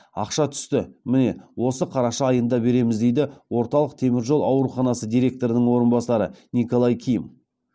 ақша түсті міне осы қараша айында береміз дейді орталық темір жол ауруханасы директорының орынбасары николай ким